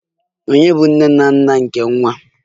Ole ndị bụ nne na nna nke nwa a?